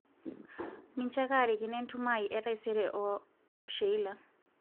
mincho ake arikino entumo etaisere aai o Sheila